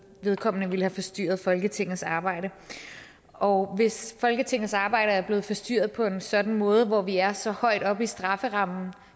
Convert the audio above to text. vedkommende ville have forstyrret folketingets arbejde og hvis folketingets arbejde er blevet forstyrret på en sådan måde hvor vi er så højt oppe i strafferammen